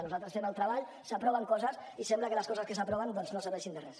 nosaltres fem el treball s’aproven coses i sembla que les coses que s’aproven no serveixin de res